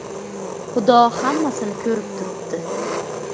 Xudo hammasini ko‘rib turibdi.